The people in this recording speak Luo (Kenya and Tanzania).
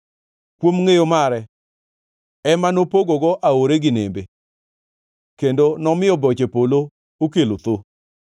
kuom ngʼeyo mare ema nopogogo aore gi nembe, kendo nomiyo boche polo okelo thoo.